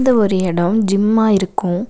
இது ஒரு எடோ ஜிம்மா இருக்கு.